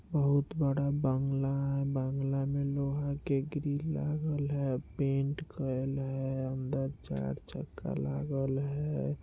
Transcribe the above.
बहुत बड़ा बंगला है बंगला में लोहा के ग्रिल लागल है पेंट कैल है अंदर चार चक्का लागल है।